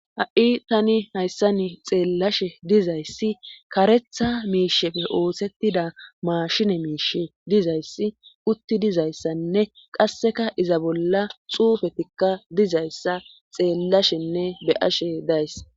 Ha'i tani hayssa ni xeellashe dizayssi karetha miishefe oosettida maashine miish dizayssi utti dizayssanne qasseka iza bolla xuufetikka dizayssa xeellashenne beyashe days.